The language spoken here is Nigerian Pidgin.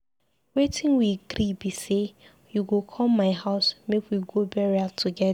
Wetin we agree be say you go come my house make we go burial together.